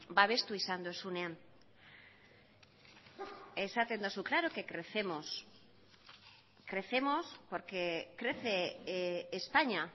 babestu izan duzunean esaten duzu claro que crecemos crecemos porque crece españa